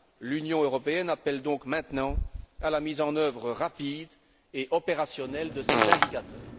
L'Union européenne appelle donc maintenant à la mise en œuvre rapide et opérationnelle de ces indicateurs.